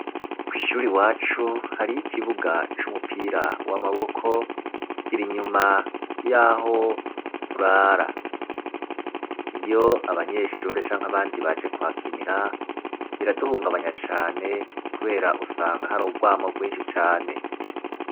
Ku ishuri iwacu hariho ikibuga c'umupira w'amaboko kirinyuma yaho turara iyo abanyeshure canke abandi baje kuhakinira biraduhungabanya cane kubera usanga hari urwamo rwinshi cane.